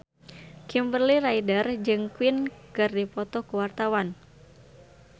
Kimberly Ryder jeung Queen keur dipoto ku wartawan